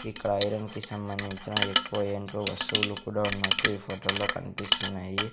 ఇక్కడ ఐరన్ కి సంబంధించిన ఎక్కువ ఏంటో వస్తువులు కూడా ఉన్నట్టు ఈ ఫోటో లో కనిపిస్తున్నాయి.